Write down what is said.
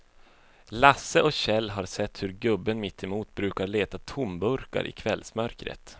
Lasse och Kjell har sett hur gubben mittemot brukar leta tomburkar i kvällsmörkret.